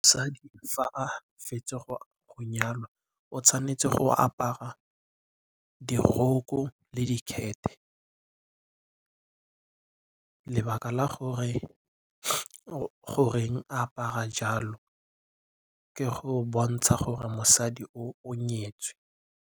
Mosadi fa a fetsa go nyalwa o tshwanetse go apara diroko le dikhethe. Lebaka la gore goreng a apara jalo ke go bontsha gore mosadi o o nyetswe.